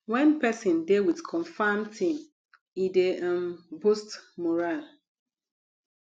when person dey with confirm team e dey um boost morale